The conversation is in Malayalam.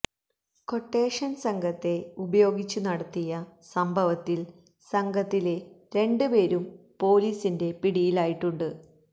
ക്വട്ടേഷന് സംഘത്തെ ഉപയോഗിച്ചു നടത്തിയ സംഭവത്തിൽ സംഘത്തിലെ രണ്ട് പേരും പൊലീസിന്റെ പിടിയിലായിട്ടുണ്ട്